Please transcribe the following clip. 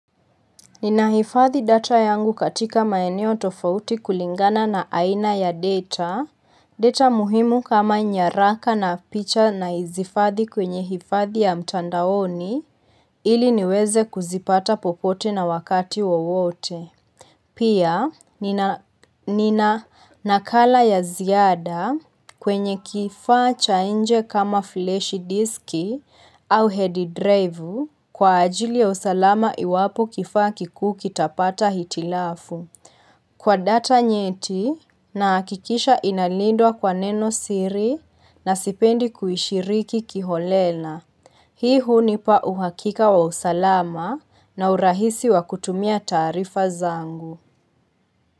Ninahifathi data yangu katika maeneo tofauti kulingana na aina ya data, data muhimu kama nyaraka na picha na izifathi kwenye hifathi ya mtandaoni ili niweze kuzipata popote na wakati wawote. Pia, nina nakala ya ziada kwenye kifaa cha inje kama fleshi diski au head drive kwa ajili ya usalama iwapo kifaa kikuu kitapata hitilafu. Kwa data nyeti na akikisha inalindwa kwa neno siri na sipendi kuhishiriki kiholela. Hii huni pa uhakika wa usalama na urahisi wa kutumia taarifa zangu.